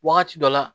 Wagati dɔ la